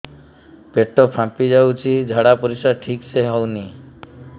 ପେଟ ଫାମ୍ପି ଯାଉଛି ଝାଡ଼ା ପରିସ୍ରା ଠିକ ସେ ହଉନି